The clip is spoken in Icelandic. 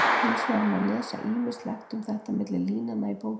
Hins vegar má lesa ýmislegt um þetta milli línanna í bókinni.